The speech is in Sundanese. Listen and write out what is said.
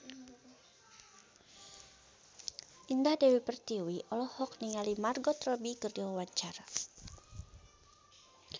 Indah Dewi Pertiwi olohok ningali Margot Robbie keur diwawancara